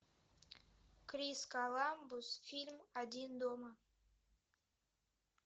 крис коламбус фильм один дома